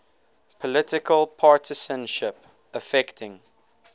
political partisanship affecting